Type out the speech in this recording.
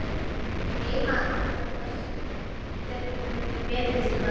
Geyma það til betri tíma.